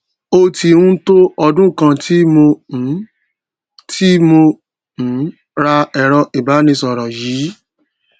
ó tí n tó ọdún kàn tí mo um tí mo um ra èrọ ìbánisòrò yìí